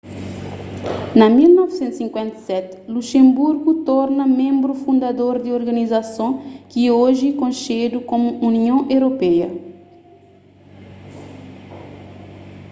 na 1957 luxanburgu torna ménbru fundador di organizason ki é oji konxedu komu union europeia